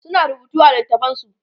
suna rubutu a littatafansu